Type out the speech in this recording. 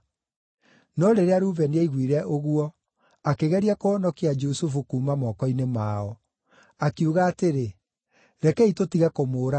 No rĩrĩa Rubeni aiguire ũguo, akĩgeria kũhonokia Jusufu kuuma moko-inĩ mao. Akiuga atĩrĩ, “Rekei tũtige kũmũũraga.